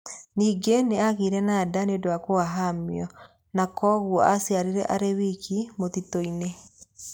Ningĩ nĩ aagĩire na nda nĩ ũndũ wa kũhahamio, na kwoguo aciarire arĩ wiki mũtitũ-inĩ.